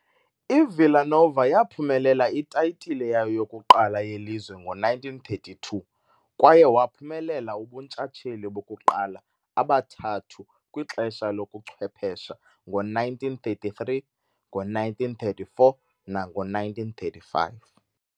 I-Villa Nova yaphumelela itayitile yayo yokuqala yelizwe ngo-1932 kwaye waphumelela ubuntshatsheli bokuqala abathathu kwixesha lobuchwephesha ngo-1933, ngo-1934 nango-1935.